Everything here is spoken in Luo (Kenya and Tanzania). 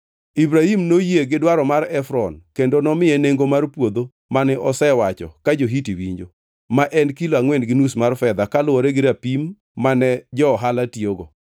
Ibrahim noyie gi dwaro mar Efron kendo nomiye nengo mar puodho mane osewacho ka jo-Hiti winjo: ma en kilo angʼwen gi nus mar fedha kaluwore gi rapim mane jo-ohala tiyogo.